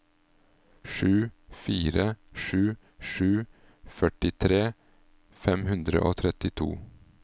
sju fire sju sju førtitre fem hundre og trettito